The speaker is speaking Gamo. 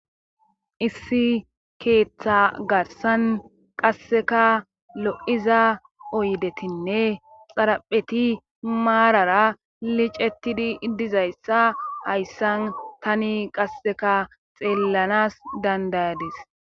issi keeththa garsan qasseka lo7iza oydetinne xarapheti maarara licetidi dizayssa hayssan tani qasseka xeellanas dandayadis